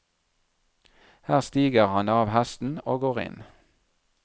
Her stiger han av hesten og går inn.